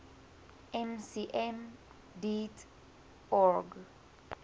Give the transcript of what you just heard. mcm deat org